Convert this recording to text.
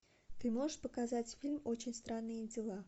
ты можешь показать фильм очень странные дела